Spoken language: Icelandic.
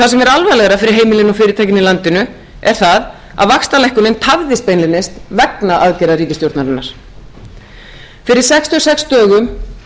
það sem er alvarlegra fyrir heimilin og fyrirtækin í landinu er það að vaxtalækkunin tafðist beinlínis vegna aðgerða ríkisstjórnarinnar fyrir sextíu og sex dögum stóð gengisvísitala krónunnar í hundrað níutíu og